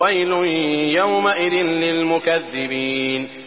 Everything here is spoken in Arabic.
وَيْلٌ يَوْمَئِذٍ لِّلْمُكَذِّبِينَ